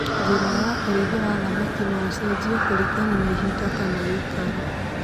Njĩra ya ũrithia wa thamaki no cicenjie kũringana na ihinda kana gĩkaro